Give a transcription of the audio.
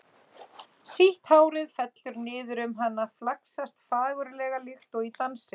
Sítt hárið fellur niður um hana, flaksast fagurlega líkt og í dansi.